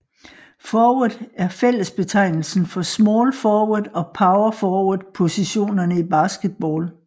Forward er fællesbetegnelsen for small forward og power forward positionerne i basketball